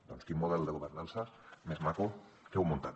doncs quin model de governança més maco que heu muntat